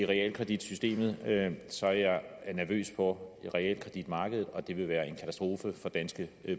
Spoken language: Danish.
realkreditsystemet er jeg nervøs for realkreditmarkedet og det vil være en katastrofe for danske